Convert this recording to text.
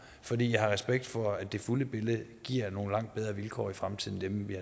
for jeg har respekt for at det fulde billede giver nogle langt bedre vilkår i fremtiden